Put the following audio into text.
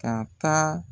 Ka taa